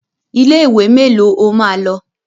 Ilé ìwé mélòó o máa lọ?